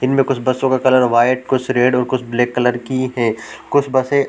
इनमें कुछ बसों का कलर व्हाइट कुछ रेड और कुछ ब्लैक कलर की है कुछ बसे --